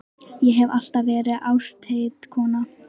Ég hef alltaf verið ástheit kona.